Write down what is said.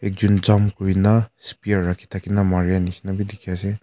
Ekjun jump kurena spear rakheh thakya na marai neshina bhi dekhe ase.